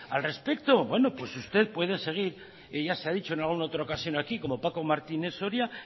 al respecto bueno pues usted puede seguir ya se ha dicho en alguna otra ocasión aquí como paco martínez soria